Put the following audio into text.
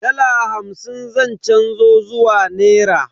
Dala hamsin zan canzo zuwa nera.